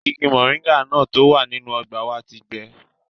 Igi mọ̀ríńgà náà tó wà nínú ọgbà wa ti gbẹ